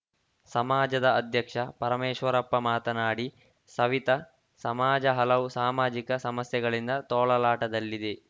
ಸಮಾಜದ ಅಧ್ಯಕ್ಷ ಪರಮೇಶ್ವರಪ್ಪ ಮಾತನಾಡಿ ಸವಿತ ಸಮಾಜ ಹಲವು ಸಾಮಾಜಿಕ ಸಮಸ್ಯೆಗಳಿಂದ ತೊಳಲಾಟದಲ್ಲಿದೆ